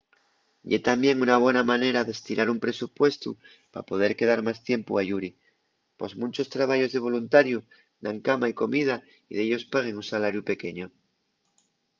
ye tamién una bona manera d’estirar un presupuestu pa poder quedar más tiempu ayuri pos munchos trabayos de voluntariu dan cama y comida y dellos paguen un salariu pequeñu